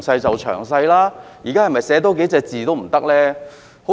局方是否多寫幾個字都不行呢？